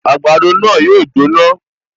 Àgbàdo náà yóò jóná